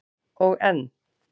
Og enn